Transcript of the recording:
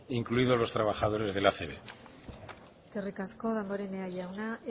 incluidos los trabajadores de la acb eskerrik asko damborenea jauna